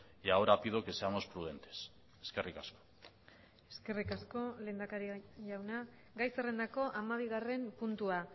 y ahora pido que seamos prudentes eskerrik asko eskerrik asko lehendakari jauna gai zerrendako hamabigarren puntua